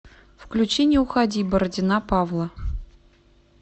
включи не уходи бородина павла